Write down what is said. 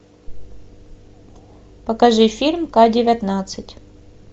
покажи фильм к девятнадцать